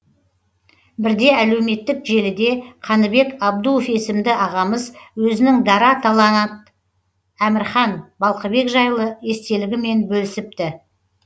бірде әлеуметтік желіде қаныбек абдуов есімді ағамыз өзінің дара таланат әмірхан балқыбек жайлы естелігімен бөлісіпті